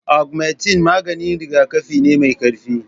Augmentine maganin rigakafi ne mai ƙarfi